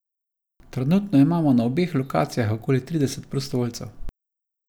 Trenutno imamo na obeh lokacijah okoli trideset prostovoljcev.